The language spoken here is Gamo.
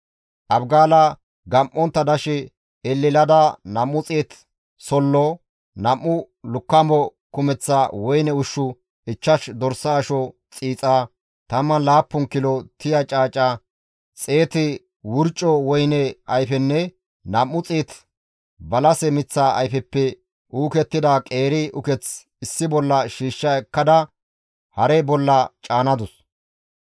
Abigaala gam7ontta dashe elelada 200 sollo, 2 lukkamo kumeththa woyne ushshu, 5 dorsa asho xiixa, 17 kilo tiya caaca, 100 wurco woyne ayfenne 200 balase miththa ayfeppe uukettida qeeri uketh issi bolla shiishsha ekkada hare bolla caanadus.